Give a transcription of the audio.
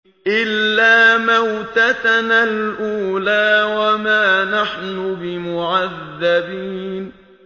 إِلَّا مَوْتَتَنَا الْأُولَىٰ وَمَا نَحْنُ بِمُعَذَّبِينَ